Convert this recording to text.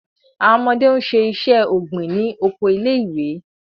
Awọn ọmọde n ṣe iṣẹ-ogbin ni oko ilé-ìwé